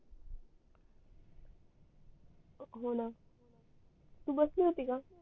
हो न तू बसली होती का